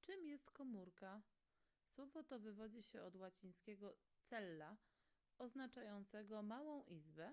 czym jest komórka słowo to wywodzi się od łacińskiego cella oznaczającego małą izbę